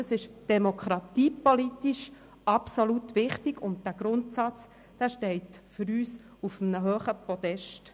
Das ist demokratiepolitisch absolut wichtig, und dieser Grundsatz steht für uns auf einen hohen Podest.